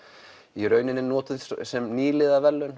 í rauninni notuð sem